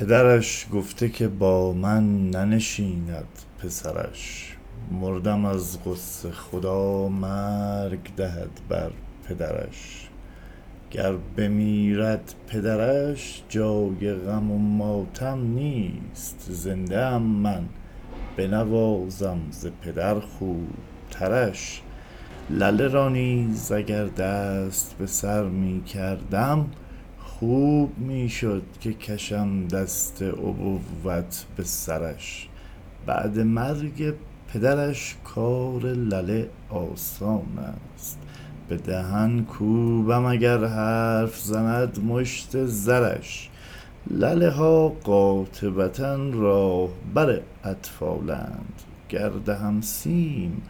پدرش گفته که با من ننشیند پسرش مردم از غصه خدا مرگ دهد بر پدرش گر بمیرد پدرش جای غم و ماتم نیست زنده ام من بنوازم ز پدر خوب ترش لله را نیز اگر دست به سر می کردم خوب می شد که کشم دست ابوت به سرش بعد مرگ پدرش کار لله آسانست به دهن کوبم اگر حرف زند مشت زرش لله ها قاطبة راهبر اطفالند گر دهم سیم